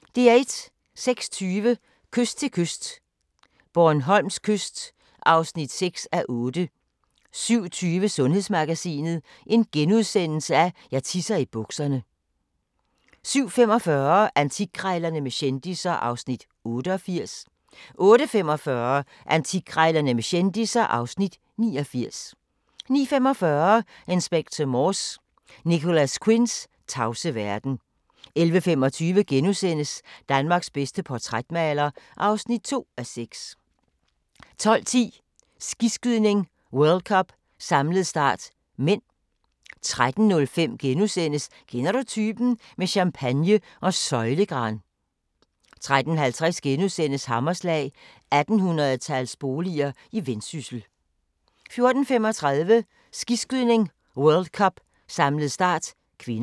06:20: Kyst til kyst - Bornholms kyst (6:8) 07:20: Sundhedsmagasinet: Jeg tisser i bukserne * 07:45: Antikkrejlerne med kendisser (Afs. 88) 08:45: Antikkrejlerne med kendisser (Afs. 89) 09:45: Inspector Morse: Nicholas Quinns tavse verden 11:25: Danmarks bedste portrætmaler (2:6)* 12:10: Skiskydning: World Cup - samlet start (m) 13:05: Kender du typen? – med champagne og søjlegran * 13:50: Hammerslag – 1800-tals boliger i Vendsyssel * 14:35: Skiskydning: World Cup - samlet start (k)